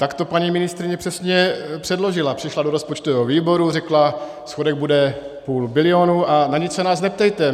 Tak to paní ministryně přesně předložila, přišla do rozpočtového výboru, řekla: Schodek bude půl bilionu a na nic se nás neptejte.